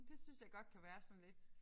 Det synes jeg godt kan være sådan lidt